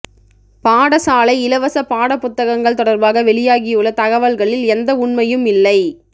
பாடசாலை இலவச பாடப்புத்தகங்கள் தொடர்பாக வெளியாகியுள்ள தகவல்களில் எந்த உண்மையும் இல்லை